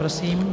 Prosím.